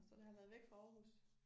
Så det har været væk fra Aarhus